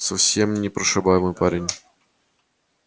совсем непрошибаемый парень